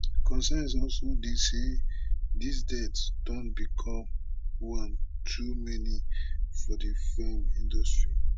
concerns also dey say dis deaths don become one too many for di feem industry